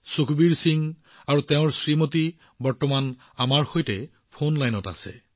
সুখবীৰ সিং আৰু তেওঁৰ পত্নী এই মুহূৰ্তত ফোন লাইনত আমাৰ সৈতে উপস্থিত আছে